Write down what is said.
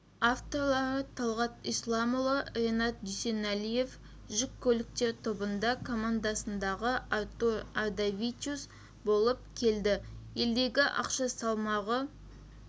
авторлары талғат исламұлы ренат дүсәлиев жүк көліктер тобында командасындағы артур ардавичус болып келді елдегі ақша салмағы